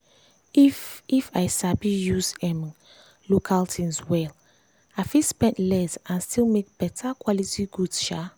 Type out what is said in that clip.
if if i sabi use um local things well i fit spend less and still make better quality goods. um